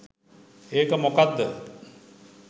ඒක මොකක් ද